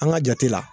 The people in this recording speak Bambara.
An ka jate la